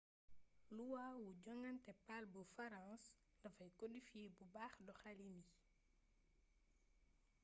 luwa wu joŋante pal bu farans dafay kodifiyee bu baax doxaliin yi